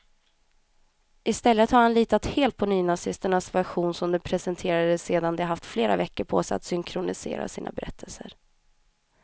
I stället har han litat helt på nynazisternas version, som de presenterade sedan de haft flera veckor på sig att synkronisera sina berättelser.